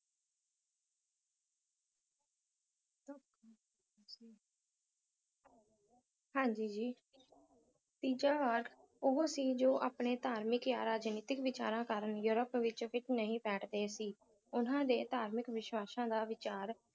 ਹਾਂਜੀ ਜੀ ਤੀਜਾ ਧੜ ਉਹ ਸੀ ਜੋ ਆਪਣੇ ਧਾਰਮਿਕ ਜਾਂ ਰਾਜਨੀਤਕ ਵਿਚਾਰਾਂ ਕਾਰਨ ਯੂਰਪ ਵਿੱਚ ਫਿੱਟ ਨਹੀਂ ਬੈਠਦੇ ਹੀ ਉਨ੍ਹਾਂ ਦੇ ਧਾਰਮਿਕ ਵਿਸ਼ਵਾਸਾਂ ਦਾ ਵਿਚਾਰ